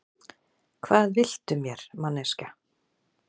Hvað viltu mér, manneskja?